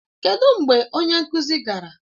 Kedụ mgbe onye nkụzi gara?